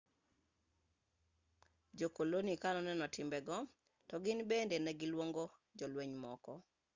jo-koloni ka noneno timbe go to gin bende ne giluongo jolweny mamoko